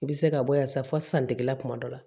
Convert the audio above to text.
I bɛ se ka bɔ yan sa fɔ santigila kuma dɔ la